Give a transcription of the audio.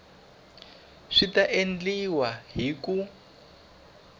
swi ta endliwa hi ku